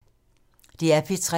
DR P3